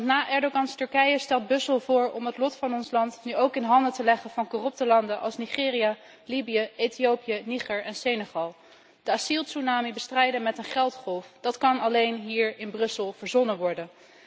Na Erdogans Turkije stelt Brussel voor om het lot van ons land nu ook in de handen te leggen van corrupte landen als Nigeria, Libië, Ethiopië, Niger en Senegal. De asieltsunami bestrijden met een geldgolf, dat kan alleen hier in Brussel verzonnen worden.